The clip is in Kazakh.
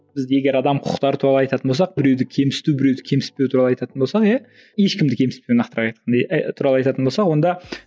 бізде егер адам құқықтары туралы айтатын болсақ біреуді кемсіту біреуді кемсітпеу туралы айтатын болсақ иә ешкімді кемсітпей нақтырақ туралы айтатын болсақ онда